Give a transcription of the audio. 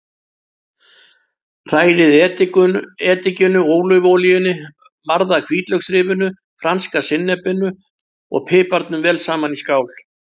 Hrærið edikinu, ólívuolíunni, marða hvítlauksrifinu, franska sinnepinu og piparnum vel saman í skál.